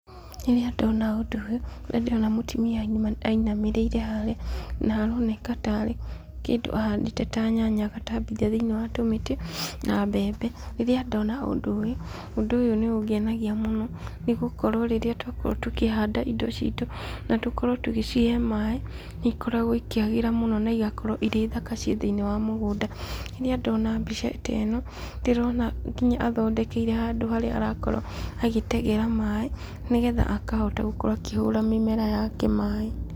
Rĩrĩa ndona ũndũ ũyũ, kũrĩa ndĩrona mũtumia inamĩrĩire harĩa, na aroneka tarĩ kĩndũ ahandĩte ta nyanya agatambithia thĩiniĩ wa tũmĩtĩ, na mbembe, rĩrĩa ndona ũndũ ũyũ , ũndũ ũyũ nĩ ũngenagia mũno, nĩgũkorwo rĩrĩa twakorwo tũkĩhanda indo citũ, na tũkorwo tũgĩcihe maaĩ , nĩ ikoragwo ikĩagĩra mũno, na igakorwo irĩ thaka ci thĩiniĩ wa mũgũnda , rĩrĩa ndona mbica ta ĩno ,ndĩrona nginya athondekeire handũ harĩa arakorwo agĩtegera maaĩ, nĩgetha akahota gũkorwo akĩhura mĩmera yake maaĩ.